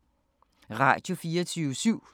Radio24syv